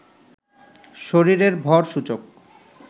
শরীরের ভর সূচক